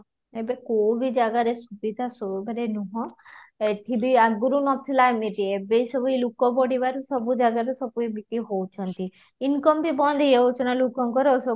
ଏବେ କଉ ବି ଜାଗାରେ ସୁବିଧା ମାନେ ନୁହଁ ଏଠି ବି ଆଗରୁ ନ ଥିଲା ଏମିତି ଏବେ ସବୁ ଏ ଲୋକ ବଢ଼ିବାରୁ ସବୁ ଜାଗାରୁ ସବୁ ଏମିତି ହଉଛନ୍ତି income ବି ବନ୍ଦ ହେଇ ଯାଉଛି ନା ଲୋକଙ୍କର ସବୁ